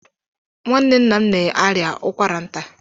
Nwanne nna m na-arịa ụkwara nta.